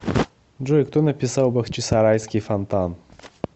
джой кто написал бахчисарайский фонтан